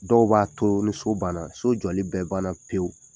Dɔw b'a to ni so banna so jɔli bɛ bana pewu.